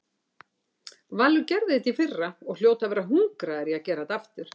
Valur gerði þetta í fyrra og hljóta að vera hungraðir í að gera þetta aftur.